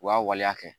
U y'a waleya kɛ